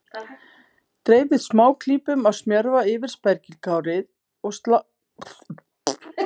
Dreifið smáklípum af smjörva yfir spergilkálið og sáldrið parmesanostinum yfir.